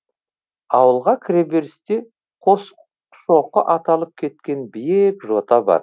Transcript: ауылға кіреберісте қосшоқы аталып кеткен биік жота бар